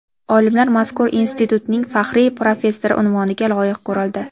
Olimlar mazkur institutning faxriy professori unvoniga loyiq ko‘rildi.